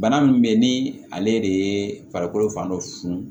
Bana min bɛ yen ni ale de ye farikolo fan dɔ funu